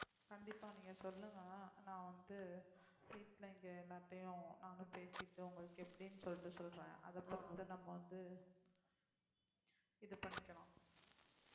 கண்டிப்பா நீங்க சொல்லுங்க நான் வந்து வீட்ல இங்க எல்லாத்தையும் நானும் பேசிட்டு உங்களுக்கு எப்படின்னு சொல்லிட்டு சொல்றேன் அதுக்கப்பறம் கூட நம்ம வந்து இது பண்ணிக்கலாம்